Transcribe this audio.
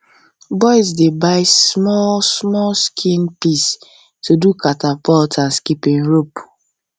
boys dey buy small small skin piece to do catapult and skipping rope